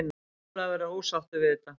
Ólafur er ósáttur við þetta.